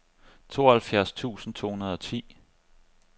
tooghalvfjerds tusind to hundrede og ti